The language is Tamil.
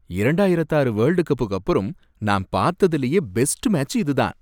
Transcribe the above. இரண்டாயிரத்து ஆறு வேல்டு கப்புக்கு அப்புறம் நான் பார்த்ததிலேயே பெஸ்ட் மேட்ச் இதுதான்.